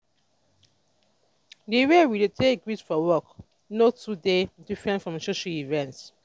di way we dey take greet for work no too dey diffrent from social event